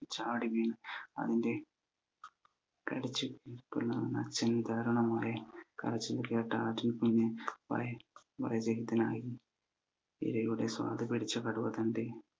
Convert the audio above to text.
ചാടി വീണ് അതിന്റെ കടിച ഉം പിളർന്ന് അച്ഛന്റെ ദാരുണമായ കരച്ചിൽ കേട്ട ആട്ടിൻ കുഞ് വളരെ ഇരയുടെ സ്വാദ് പിടിച്ച കടുവ തന്റെ